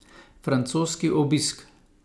Francoski obisk.